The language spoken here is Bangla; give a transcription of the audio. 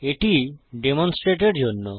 এটি ডেমন্সট্রেটএর জন্য